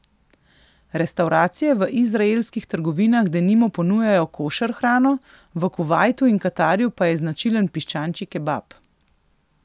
Restavracije v izraelskih trgovinah denimo ponujajo košer hrano, v Kuvajtu in Katarju pa je značilen piščančji kebab.